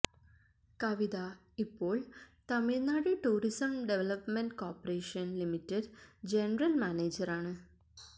കവിത ഇപ്പോൾ Tamil Nadu tourism development corporation limited general മാനേജറാണ്